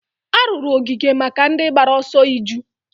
a rụrụ ogige maka ndị gbara ọsọ iju